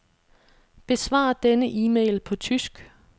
Besvar denne e-mail på tysk.